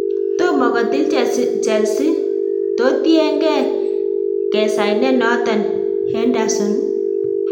tomo kotil Chelsea totiengee kesainen noton Henderson.